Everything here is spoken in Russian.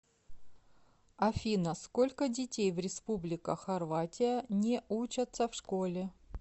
афина сколько детей в республика хорватия не учатся в школе